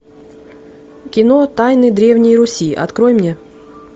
кино тайны древней руси открой мне